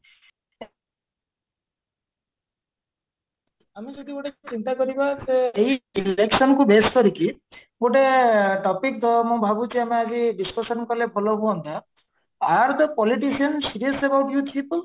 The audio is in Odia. ଆମେ ଯଦି ଗୋଟେ ଚିନ୍ତା କରିବା ଯେ ଏହି election କୁ base କରିକି ଗୋଟେ topic ତ ମୁଁ ଭାବୁଚି ଆମେ ଆଜି discussion କାଲେ ଭଲ ହୁଅନ୍ତ politician